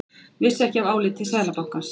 Vissi ekki af áliti Seðlabankans